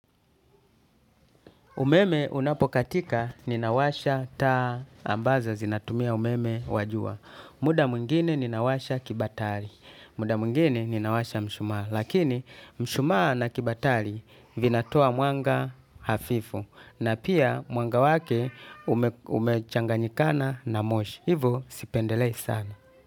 Umeme unapo katika ninawasha taa ambazo zinatumia umeme wa jua. Muda mwingine ninawasha kibatari. Muda mwingine ninawasha mshumaa. Lakini mshumaa na kibatari vinatoa mwanga hafifu. Na pia mwanga wake umechanganyikana na moshi. Hivo sipendelei sana.